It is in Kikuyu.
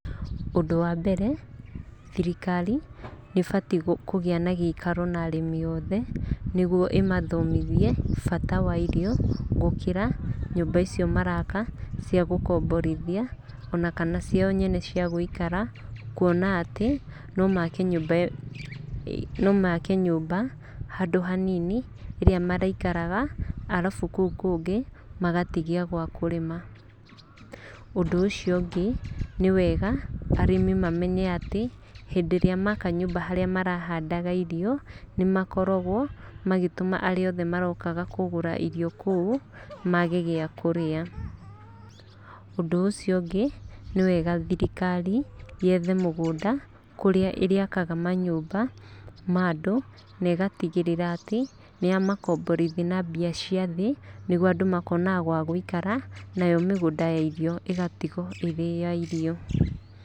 Ũndũ wa mbere, thirikari nĩ ĩbatiĩ kũgĩa na gĩikaro na arĩmi othe nĩguo ĩmathomithie bata wa irio gũkĩra nyũmba icio maraka cia gũkomborithia ona kana ciao nyene cia gũikara. Kuona atĩ, no make nyũmba handũ hanini ĩrĩa marĩikaraga arabu kũu kũngĩ magatigia gwa kũrĩma. Ũndũ ũcio ũngĩ, nĩ wega arĩmi mamenye atĩ hĩndĩ ĩrĩa maka nyũmba harĩa marahandaga irio, nĩ makoragwo magĩtũma arĩa othe marokaga kũgũra irio kũu mage gĩa kũrĩa. Ũndũ ũcio ũngĩ, nĩ wega thirikari yethe mũgũnda kũrĩa ĩrĩakaga manyũmba ma andũ na ĩgatigĩrĩra atĩ nĩ yamakomborithia na mbia cia thĩ, nĩguo andũ makonaga gwa gũikara, nayo migũnda ya irio ĩgatigwo ĩrĩ ya irio.